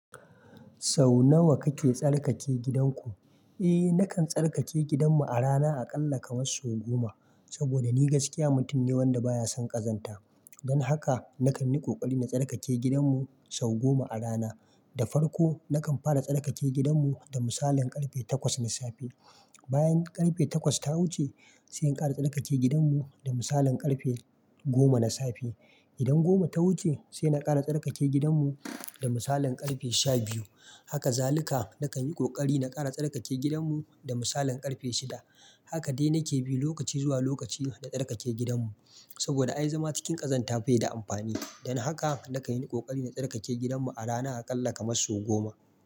Sau nawa kake tsarkake gidan ku? Eh, nakan tsarkake gidan mu a rana a ƙalla kamar sau goma. Saboda ni gaskiya mutum ne wanda baya son ƙazanta. Dan haka nakan yi ƙoƙari na tsarkake gidan mu sau goma a rana. Da farko nakan fara tsarkake gidan mu da misalin ƙarfe takwas na safe. Bayan ƙarfe takwas ta wuce, sai in ƙara tsarkake gidan mu da misalin ƙarfe goma na safe. Idan goma ta wuce, sai na ƙara tsarkake gidan mu da misalin ƙarfe sha biyu. Har kazalika nakan yi ƙoƙari na ƙara tsarkake gidan mu da misalin ƙarfe shida. Haka dai nake bi lokaci zuwa lokaci na tsarkake gidan mu. Saboda ai zama cikin ƙazanta bai da amfani. Dan haka nakan yi ƙoƙari na tsarkake gidan mu a rana a ƙalla kamar sau goma.